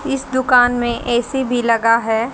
इस दुकान में ऐ_सी भी लगा है।